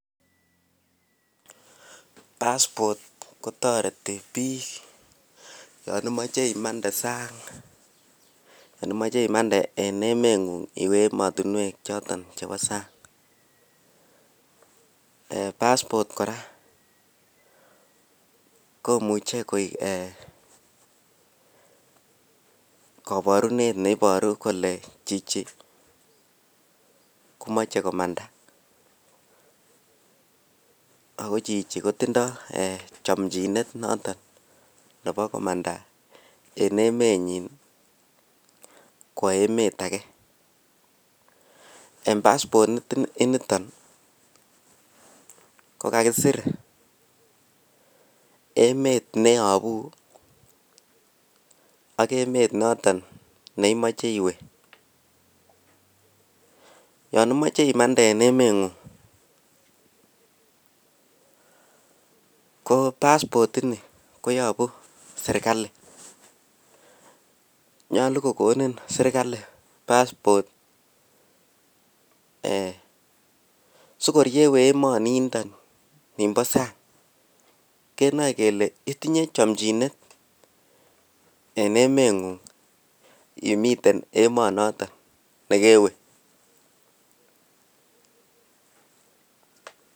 Passport kotoreti biik yon imoche imande sang yon imoche imande en emengu'ng iwe choton emotinwek chebo sang, passport kora komuche koik eeh koborunet neiboru kole chichi komoche komanda, ako chichi kotindoo eeh chamnjinet noton nebo komanda en emenyin kwo emet agee en passport inito kokakisir emet neeyobu ak emet noton neimoche iwee, yon imoche imandee en emeng'ung koo passport ini koyobu serikali nyolu kokonin serikali passport eeh sikor yeewee emoni ndo nibo sang kenoe kele itinyee chomchinet en emengung imiten emonoton nekewe.